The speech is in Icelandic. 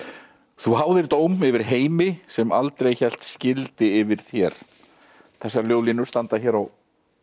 þú háðir dóm yfir heimi sem aldrei hélt skildi yfir þér þessar ljóðlínur standa hér á